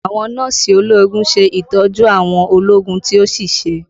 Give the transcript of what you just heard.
Àwọn Nọ́ọ̀sì ológun ṣe ìtọ́jú àwọn ológun tí ó ṣèṣe